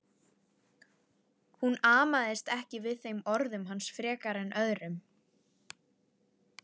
Hún amaðist ekki við þeim orðum hans frekar en öðrum.